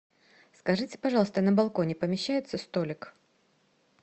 скажите пожалуйста на балконе помещается столик